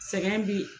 Sɛgɛn bi